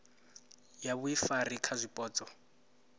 ya vhuifari kha zwipotso na